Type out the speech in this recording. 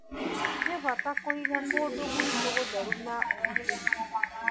Nĩ bata kũiga kũndũ gwitũ gũtheru na ũgitĩri.